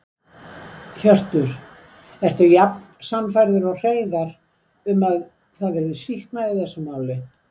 Hjörtur: Ertu jafn sannfærður og Hreiðar um að það verði sýknað í þessu máli?